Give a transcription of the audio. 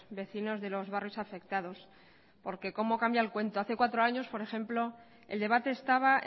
vecinos de los barrios afectados porque cómo cambia el cuento hace cuatro años por ejemplo el debate estaba